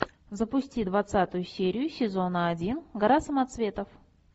запусти двадцатую серию сезона один гора самоцветов